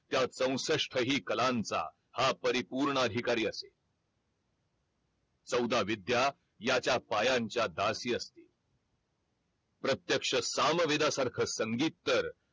त्या चौसष्ठहि कलांचा हा परिपूर्ण अधिकारी असेल चौदा विद्या याच्या पायां च्या दासी असतील प्रत्यक्ष सामवेदासारख संगीत तर